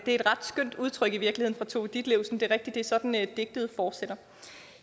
et ret skønt udtryk fra tove ditlevsen det er at det er sådan digtet fortsætter